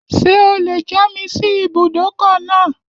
Ṣé o lè já mi sí ibùdókọ̀ náà?